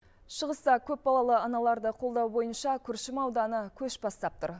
шығыста көпбалалы аналарды қолдау бойынша күршім ауданы көш бастап тұр